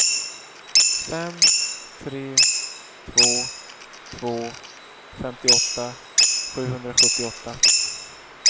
fem tre två två femtioåtta sjuhundrasjuttioåtta